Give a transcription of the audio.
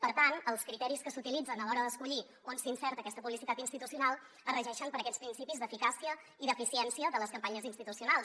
per tant els criteris que s’utilitzen a l’hora d’escollir on s’insereix aquesta publicitat institucional es regeixen per aquests principis d’eficàcia i d’eficiència de les campanyes institucionals